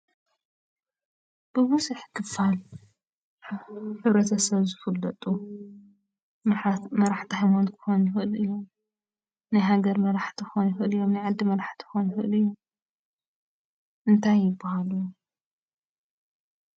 ብቡዝሕ ክፋል ሕብረተሰብ ዝፍለጡ መራሕቲ ሃይማኖት ክኮኑ ይክእሉ እዮም፣ ናይ ሃገር መራሕቲ ክኮኑ ይክእሉ እዮም፣ ናይ ዓዲ መራሕቲ ክኮኑ ይክእሉ እዮም ፤ እንታይ ይባሃሉ?